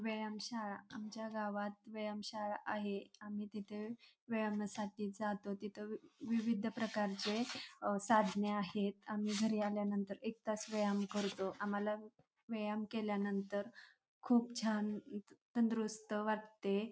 व्यायाम शाळा आमच्या गावात व्यायाम शाळा आहे आम्ही तिथे व्यायामासाठी जातो तिथ विविध प्रकारचे अ साधने आहेत आम्ही घरी आल्यानंतर एक तास व्यायाम करतो आम्हाला व्यायाम केल्यानंतर खूप छान तंदुरूस्त वाटते.